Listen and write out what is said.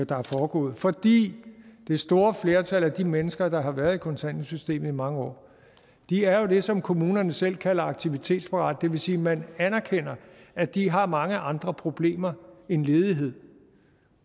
der er foregået fordi det store flertal af de mennesker der har været i kontanthjælpssystemet i mange år er jo det som kommunerne selv kalder aktivitetsparate det vil sige man anerkender at de har mange andre problemer end ledighed